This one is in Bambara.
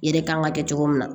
Yɛrɛ kan ka kɛ cogo min na